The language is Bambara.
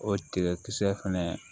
O tigɛ kisɛ fɛnɛ